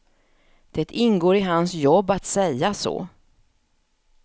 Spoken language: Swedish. Det ingår i hans jobb att säga så.